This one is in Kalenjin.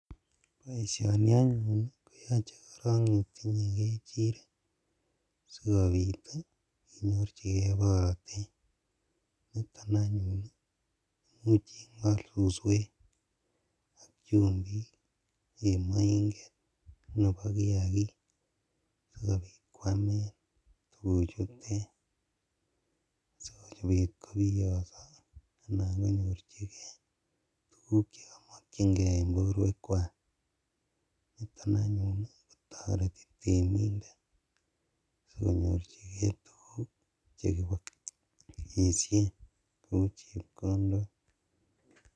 Boisioni anyun koyoche itinyee kechirek sikobit inyorjigee borotet, niton anyuun koimuch ingol suswek ak chumbik en moinget nebo kiakik sikobit kwamen tuguchutet sikobit kobiyoso anan konyorjigee tuguk chemokyingee en boruekwak, niton anyuun kotoreti temindet sikobit konyorjigee tuguk chekeboisien kou chepkondok.